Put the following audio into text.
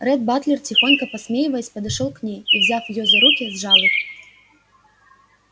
ретт батлер тихонько посмеиваясь подошёл к ней и взяв её за руки сжал их